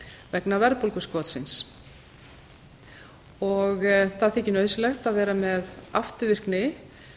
vegna verðbólguskotsins það þykir nauðsynlegt að vera með afturvirkni